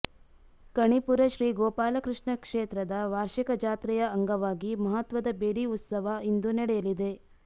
ಕಣಿಪುರ ಶ್ರೀ ಗೋಪಾಲಕೃಷ್ಣ ಕ್ಷೇತ್ರದ ವಾರ್ಷಿಕ ಜಾತ್ರೆಯ ಅಂಗವಾಗಿ ಮಹತ್ವದ ಬೆಡಿ ಉತ್ಸವ ಇಂದು ನಡೆಯಲಿದೆ